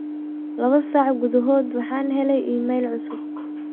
labo saac gudahyd waxaan helay iimayl cusub